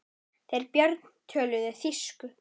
Þeir Björn töluðu þýsku.